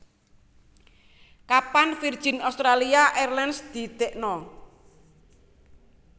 Kapan Virgin Australia Airlines didekno